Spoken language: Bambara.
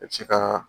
I bɛ se ka